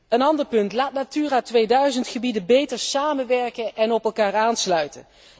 Een ander punt, laat Natura 2000 gebieden beter samenwerken en op elkaar aansluiten.